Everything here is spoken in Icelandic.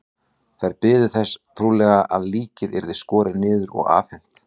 Þær biðu þess trúlega að líkið yrði skorið niður og afhent.